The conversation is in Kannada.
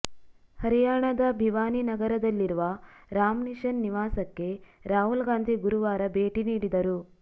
ಹರಿಯಾಣದ ಭಿವಾನಿ ನಗರದಲ್ಲಿರುವ ರಾಮ್ ನಿಶನ್ ನಿವಾಸಕ್ಕೆ ರಾಹುಲ್ ಗಾಂಧಿ ಗುರುವಾರ ಭೇಟಿ ನೀಡಿದರು